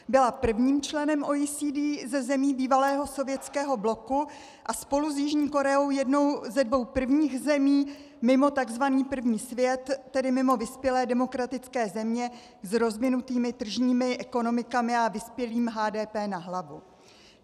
Byla prvním členem OECD ze zemí bývalého sovětského bloku a spolu s Jižní Koreou jednou ze dvou prvních zemí mimo tzv. první svět, tedy mimo vyspělé demokratické země s rozvinutými tržními ekonomikami a vyspělým HDP na hlavu.